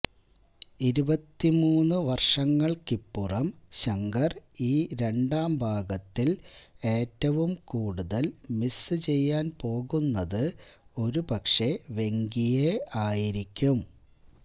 ഇരുപത്തിമൂന്നു വർഷങ്ങൾക്കിപ്പുറം ശങ്കർ ഈ രണ്ടാം ഭാഗത്തിൽ ഏറ്റവും കൂടുതൽ മിസ് ചെയ്യാൻ പോകുന്നത് ഒരുപക്ഷെ വെങ്കിയെ ആയിരിക്കും